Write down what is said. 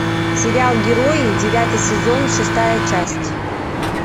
сериал герои девятый сезон шестая часть